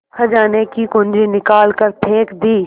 खजाने की कुन्जी निकाल कर फेंक दी